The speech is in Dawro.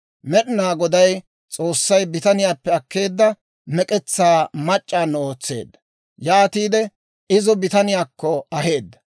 Med'inaa Goday S'oossay bitaniyaappe akkeedda mek'etsaa mac'c'aano ootseedda; yaatiide izo bitaniyaakko aheedda.